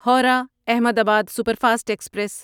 Howrah Ahmedabad superfast express